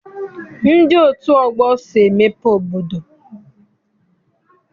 Ndị otu ọgbọ so emepe obodo.